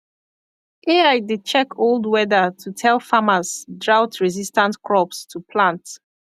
ai dey check old weather to tell farmers droughtresistant crops to plant